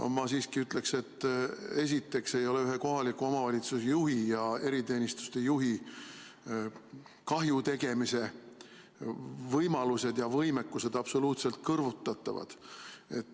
Ma siiski ütleksin, et esiteks ei ole kohaliku omavalitsuse juhi ja eriteenistuse juhi kahju tegemise võimalused ja võimekus absoluutselt kõrvutatavad.